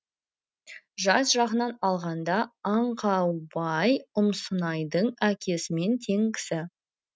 жас жағынан алғанда аңқаубай ұмсынайдың әкесімен тең кісі